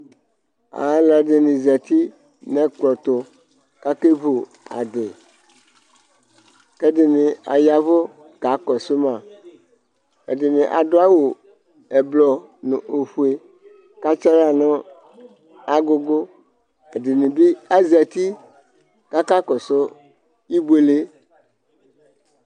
ɑluɛdini zɑti nɛkploɛtu ɑkɛvu ɑdi kɛdini ɑyɑɛvu kɑkɔsumɑ ɛdini ɑduɑduɑwu ɛblo nu ofuɛ kɑtsiɑhlɑ nɑgugu ɛdinibi ɑzɑti kɑkɑkɔsu ibuɛlɛ